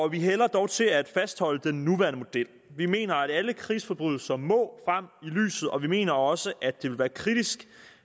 vi hælder dog til at fastholde den nuværende model vi mener at alle krigsforbrydelser må frem i lyset og vi mener også at det ville være kritisk